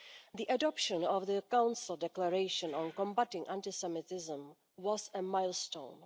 The adoption of the Council Declaration on combating anti Semitism was a milestone.